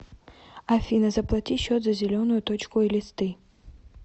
афина заплати счет за зеленую точку элисты